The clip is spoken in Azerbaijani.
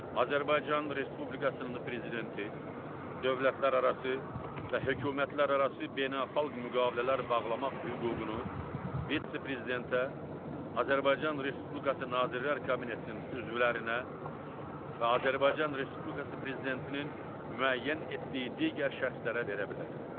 Azərbaycan Respublikasının Prezidenti dövlətlərarası və hökumətlərarası beynəlxalq müqavilələr bağlamaq hüququnu vitse-prezidentə, Azərbaycan Respublikası Nazirlər Kabinetinin üzvlərinə və Azərbaycan Respublikası Prezidentinin müəyyən etdiyi digər şəxslərə verilə bilər.